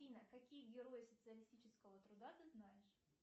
афина какие герои социалистического труда ты знаешь